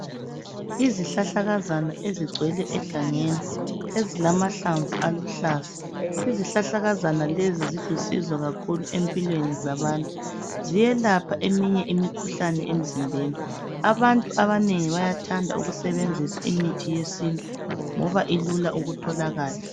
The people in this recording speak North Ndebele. Izihlahlakazana ezingcwele egangeni ezilamahlamvu aluhlaza izihlahlakazana lezi zilusizo kakhulu ezimpilweni zabantu ziyelapha imikhuhlane eminengi emzimbeni abantu bayathanda ukusebenzisa imithi yesintu ngoba ilula ukutholakala